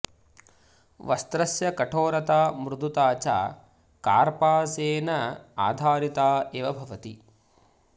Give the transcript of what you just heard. वस्त्रस्य कठोरता मृदुता च कार्पासेन आधारिता एव भवति